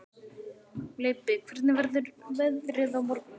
Leibbi, hvernig verður veðrið á morgun?